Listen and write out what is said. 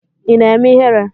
Ị na-eme ihere?